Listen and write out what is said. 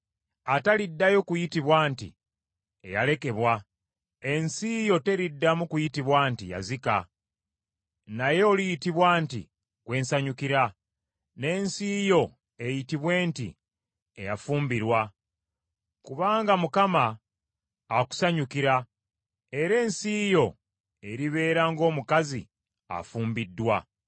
Ataliddayo kuyitibwa nti, Eyalekebwa, ensi yo teriddamu kuyitibwa nti, Yazika. Naye oliyitibwa nti, Gwe nsanyukira, n’ensi yo eyitibwe nti, Eyafumbirwa. Kubanga Mukama akusanyukira era ensi yo eribeera ng’omukazi afumbiddwa.